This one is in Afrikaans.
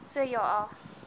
so ja a